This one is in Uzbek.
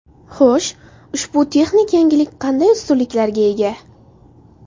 Xo‘sh, ushbu texnik yangilik qanday ustunliklarga ega?